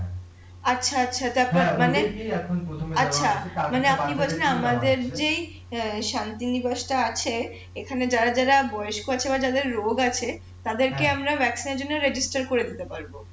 আচ্ছা আচ্ছা তারপর মানে আচ্ছা মানে আপনি বলছেন আমাদের যেই শান্তিনিবাস টা আছে এখানে যারা যারা বয়স্ক আছে বা যাদের রোগ আছে তাদের কে আমরা এর জন্য করে দিতে পারবো